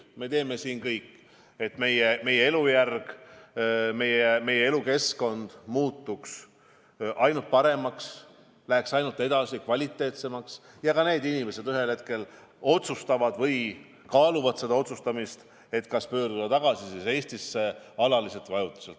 Me teeme siin kõik, et meie elujärg, meie elukeskkond muutuks aina paremaks, läheks kvaliteetsemaks, ja need inimesed ühel hetkel otsustavad tagasi tulla või vähemalt kaaluvad, kas pöörduda Eestisse alaliselt või ajutiselt tagasi.